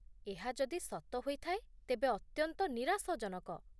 ଏହା ଯଦି ସତ ହୋଇଥାଏ ତେବେ ଅତ୍ୟନ୍ତ ନିରାଶଜନକ